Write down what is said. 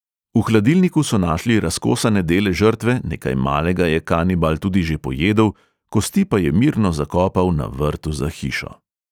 V hladilniku so našli razkosane dele žrtve, nekaj malega je kanibal tudi že pojedel, kosti pa je mirno zakopal na vrtu za hišo.